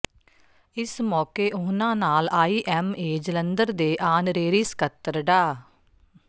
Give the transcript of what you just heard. ਇਸ ਮੌਕੇ ਉਨ੍ਹਾਂ ਨਾਲ ਆਈਐੱਮਏ ਜਲੰਧਰ ਦੇ ਆਨਰੇਰੀ ਸਕੱਤਰ ਡਾ